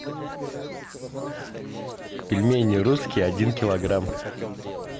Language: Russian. пельмени русские один килограмм